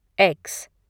x